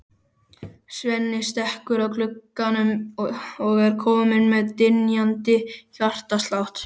Svenni stekkur að glugganum og er kominn með dynjandi hjartslátt.